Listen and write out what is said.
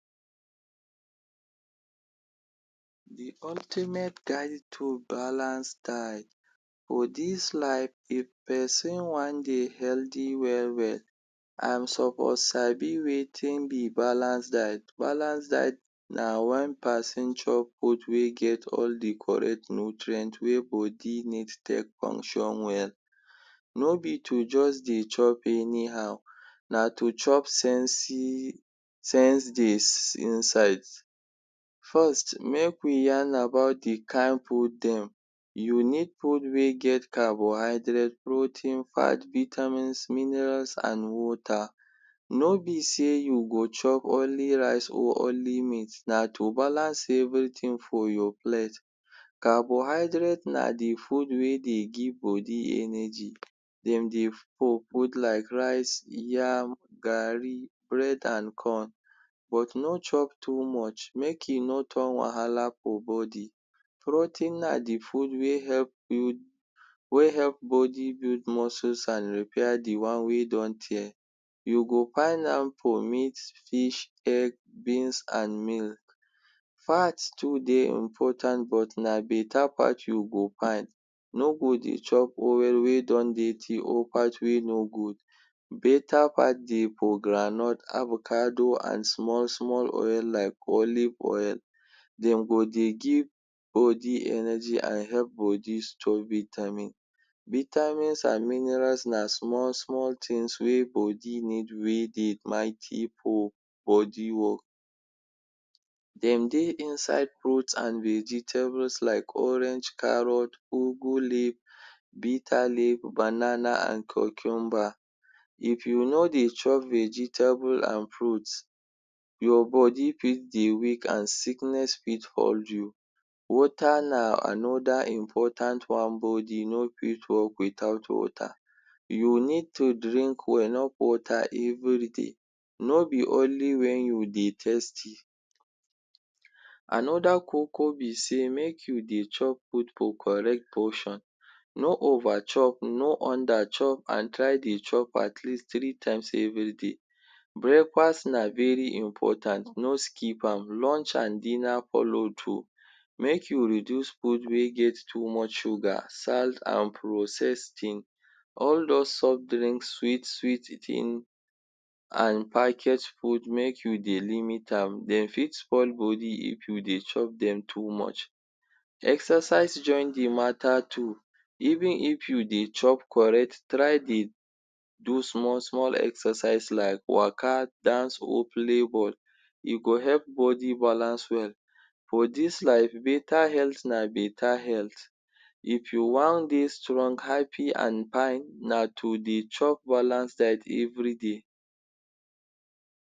De ultimate guide to balance diet. For dis life if person wan dey healthy well well and suppose sabi wetin be balance diet. Balance diet na wen person chop food wey get all de correct nutrient wey body need take function well. No be to just dey chop anyhow, na to chop sensi sense dey inside. First make we yarn about de kind food dem, you need food wey get carbohydrate, protein, fat, vitamins, mineral and water. No be set you go chop only rice or only meat, na to balance for your plate. Carbohydrate na de food wey dey give body energy. Dem dey hold like rice, yam, garri, bread and corn but no chop too much make e no turn wahala for body. Protein na de food wey help build wey help body build muscles and repair de one wey don tear. You go find am for meat, fish, egg, beans and milk. Fat too dey important but na better fat you go find. No go dey chop one wey don dirty or fat wey no good. Better fat dey for groundnut, avocado and small small oil like olive oil. Dem go dey give body energy and help body strong. Vitamin. Vitamins and minerals na small small things wey body need wey dey mighty for body work. Dem dey inside fruit and vegetables like orange, carrots, ugwu leaf, bitter leaf, banana and cucumber. If you no dey chop vegetable and fruit your body fit dey weak and sickness fit hold you. Water na another important one. Body no fit work without water. You need to drink enough water everyday, no be only wen you dey thirsty. Another koko be sey make you dey chop food for correct portion. No over chop, no under chop and try dey chop at least three times everyday. Breakfast na very important no skip am, lunch and dinner follow too. Make you reduce food wey get too much sugar, salt and processed thing. All those soft drinks sweet sweet things and package food make you dey limit am, dem fit spoil body if you dey chop dem too much. Exercise join de matter too. Even if you dey chop correct try dey do small small exercise like waka, dance or play ball. E go help body balance well. For dis life better health na health. If you wan dey strong, happy and fine na to dey chop balance diet everyday.